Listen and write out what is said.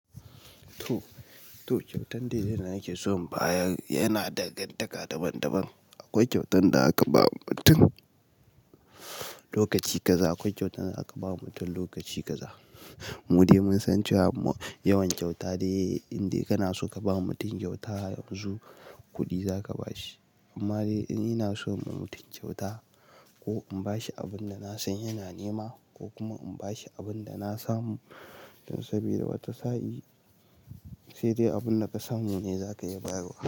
To, kyautan day yana yake so baya yana dangantaka daban-daban. Akwai kyautan da aka ba wa mutum lokaci kaza, akwai kyautan da aka ba wa mutum lokaci kaza. Mu dai mun san cewa yawan kyauta day in dai kana so ka ba mutum kyauta yanzu kudi za ka ba shi. Amma dai ina so in yi wa mutum kyauta ko in ba shi abun da na san yana nema ko kuma in ba shi abun da na samu don saboda wata sahi. Sai dai abun da ka samu ne za ka iya bawa.